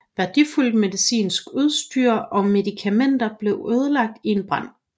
Værdifuldt medicinsk udstyr og medikamenter blev ødelagt i en brand